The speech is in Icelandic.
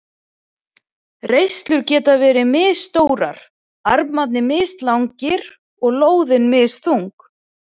Reislur geta verið misstórar, armarnir mislangir og lóðin misþung.